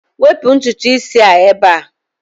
Wepụ ntutu isi a ebe a!